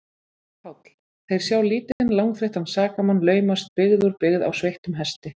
PÁLL: Þeir sjá lítinn, langþreyttan sakamann laumast byggð úr byggð á sveittum hesti.